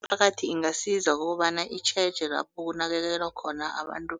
Imiphakathi ingasiza ngokobana itjheje lapho kunakekelwa khona abantu